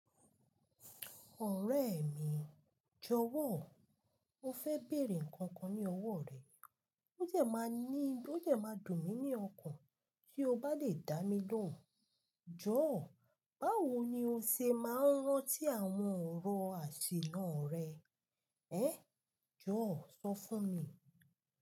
Ọ̀rẹ́ mi, jọ̀wọ́, mo fẹ́ bèèrè nnkan kan ní ọwọ́ rẹ. Ó dẹ̀ máa ní, ó dẹ̀ máa dùn mí ní ọkàn tí o bá lè dá mi lóhùn. Jọ̀ọ́, báwo ni o ṣe máa ń rántí àwọn ọ̀rọ̀ àṣìlọ rẹ? Ẹ́, jọ̀ọ́ sọ fún mi.